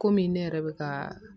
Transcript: Komi ne yɛrɛ bɛ ka